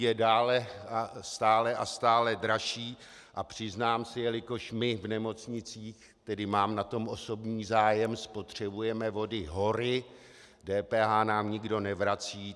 Je stále a stále dražší a přiznám se, jelikož my v nemocnicích, tedy mám na tom osobní zájem, spotřebujeme vody hory, DPH nám nikdo nevrací.